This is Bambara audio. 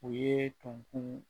U ye tonkun